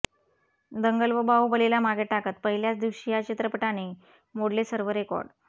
दंगल व बाहुबलीला मागे टाकत पहिल्याच दिवशी या चित्रपटाने मोडले सर्व रेकॉर्ड